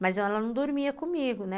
Mas ela não dormia comigo, né?